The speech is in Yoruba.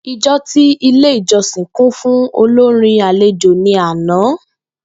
Ijọ ti Ile ijọsin kun fun olorin alejo ni ana.